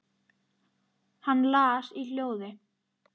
Hann las í hljóði